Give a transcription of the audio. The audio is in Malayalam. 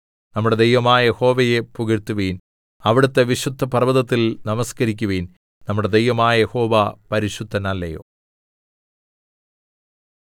നമ്മുടെ ദൈവമായ യഹോവയെ പുകഴ്ത്തുവിൻ അവിടുത്തെ വിശുദ്ധപർവ്വതത്തിൽ നമസ്കരിക്കുവിൻ നമ്മുടെ ദൈവമായ യഹോവ പരിശുദ്ധനല്ലയോ